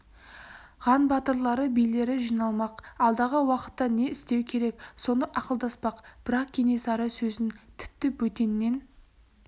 ған батырлары билері жиналмақ алдағы уақытта не істеу керек соны ақылдаспақ бірақ кенесары сөзін тіпті бөтеннен